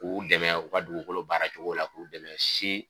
K'u dɛmɛ u ka dugukolo baara cogo la, k'u dɛmɛ si